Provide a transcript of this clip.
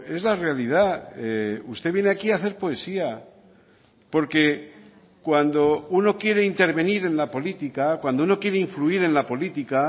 es la realidad usted viene aquí a hacer poesía porque cuando uno quiere intervenir en la política cuando uno quiere influir en la política